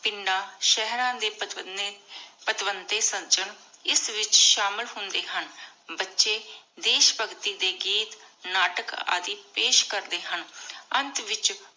ਪਿੰਡਾਂ ਸ਼ੇਹ੍ਰਾਂ ਦੇ ਸਜਨ ਇਸ ਵਿਚ ਸ਼ਾਮਿਲ ਹੁੰਦੇ ਹਨ ਬਚੇ ਦੇਸ਼ ਭਗਤੀ ਦੇ ਗੀਤ ਨਾਟਕ ਆਦਿ ਪੇਸ਼ ਕਰਦੇ ਹਨ ਅੰਤ ਵਿਚ